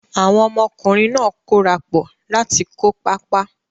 Àwọn ọmọkùnrin náà kórapọ̀ láti kó pápá.